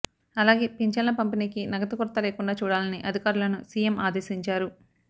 అలాగే పింఛన్ల పంపిణీకి నగదు కొరత లేకుండా చూడాలని అధికారులను సిఎం ఆదేశించారు